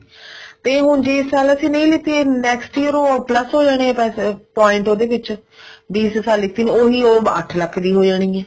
ਤੇ ਹੁਣ ਜੇ ਇਸ ਸਾਲ ਨਹੀਂ ਲਿੱਤੀ next year ਉਹ plus ਹੋ ਜਾਣੇ ਆ ਪੈਸੇ point ਉਹਦੇ ਵਿੱਚ ਵੀ ਸਾਲ ਨਹੀਂ ਲਿੱਤੀ ਉਹੀ ਓ ਅੱਠ ਲੱਖ ਦੀ ਹੋ ਜਾਣੀ ਆ